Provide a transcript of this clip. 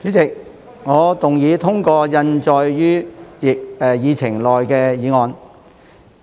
主席，我動議通過印載於議程內的議案。